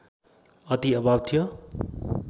अति अभाव थियो